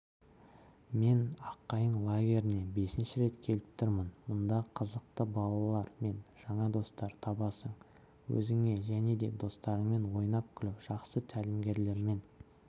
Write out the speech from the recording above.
мен аққайың лагеріне бесінші рет келіп тұрмын мұнда қызықты балалар мен жаңа достар табасың өзіңе және де достарыңмен ойнап-күліп жақсы тәлімгерлермен